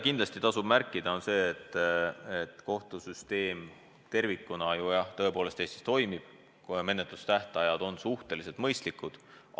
Kindlasti tasub märkida, et kohtusüsteem tervikuna tõepoolest Eestis toimib, kuna menetlustähtajad on suhteliselt mõistlikud.